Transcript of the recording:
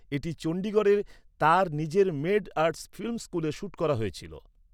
এটি চন্ডীগড়ের তার নিজের মেড আর্টস ফিল্ম স্কুলে শ্যুট করা হয়েছিল।